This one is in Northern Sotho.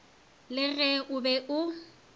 le ge o be o